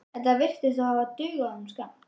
Þetta virðist þó hafa dugað honum skammt.